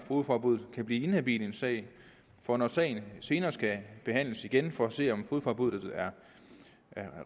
fogedforbud kan blive inhabil i en sag og når sagen senere skal behandles igen for at se om fogedforbuddet er